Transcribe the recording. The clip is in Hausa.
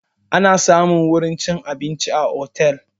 Ana samun wurin cin abinci a otel